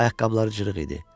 Ayaqqabıları cırıq idi.